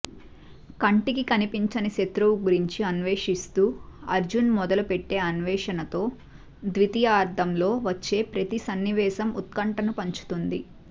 కంటికి కనిపించని శత్రువు గురించి అన్వేషిస్తూ అర్జున్ మొదటుపెట్టే అన్వేషణతో ద్వితీయార్థంలో వచ్చే ప్రతి సన్నివేశం ఉత్కంఠను పంచుతుంది